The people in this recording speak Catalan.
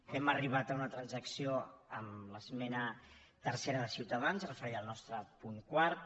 hem arribat a una transacció amb l’esmena tercera de ciutadans referida al nostre punt quart